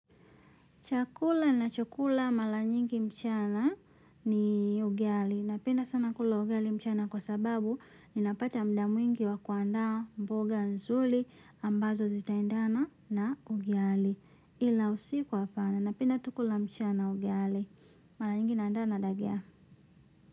Chakula nachokula mara nyingi mchana ni ugali. Napenda sana kula ugali mchana kwa sababu ninapata muda mwingi wa kuandaa mboga nzuri ambazo zitaandana na ugali. Kila usiku hapana. Napenda tu kula mchana ugali. Mara nyingi naandana na njaa.